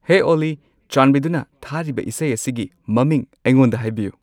ꯍꯦ ꯑꯣꯜꯂꯤ ꯆꯥꯟꯕꯤꯗꯨꯅ ꯊꯥꯔꯤꯕ ꯏꯁꯩ ꯑꯁꯤꯒꯤ ꯃꯃꯤꯡ ꯑꯩꯉꯣꯟꯗ ꯍꯥꯏꯕꯤꯌꯨ